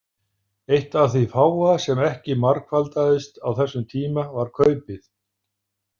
Eitt af því fáa sem ekki margfaldaðist á þessum tíma var kaupið.